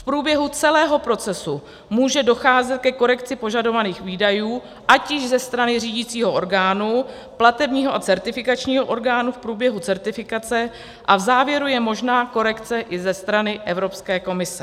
V průběhu celého procesu může docházet ke korekci požadovaných výdajů, ať již ze strany řídicího orgánu, platebního a certifikačního orgánu v průběhu certifikace a v závěru je možná korekce i ze strany Evropské komise.